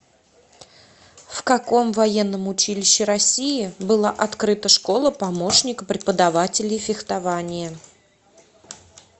в каком военном училище россии была открыта школа помощника преподавателей фехтования